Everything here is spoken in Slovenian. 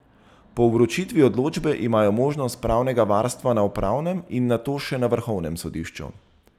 Po vročitvi odločbe imajo možnost pravnega varstva na upravnem in nato še na vrhovnem sodišču.